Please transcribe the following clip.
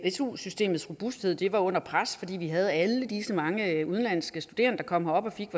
su systemets robusthed var under pres fordi vi havde alle disse mange udenlandske studerende der kom her op og fik